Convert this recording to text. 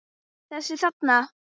Þessa þarna!